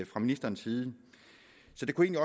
fra ministerens side så det kunne